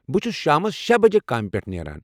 بہٕ چھُس شامَس شے بجے کامہِ پٮ۪ٹھہٕ نیران